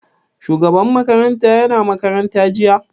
Shugaban makarantar ya na makaranta jiya?